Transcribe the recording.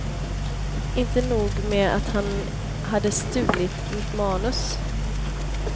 Inte nog med att han hade stulit mitt manus.